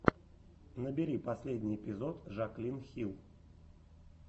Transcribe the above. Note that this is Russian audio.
набери последний эпизод жаклин хилл